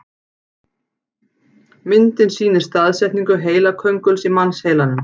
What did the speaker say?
Myndin sýnir staðsetningu heilakönguls í mannsheilanum.